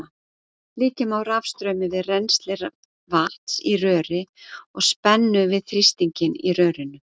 Líkja má rafstraumi við rennsli vatns í röri og spennu við þrýstinginn í rörinu.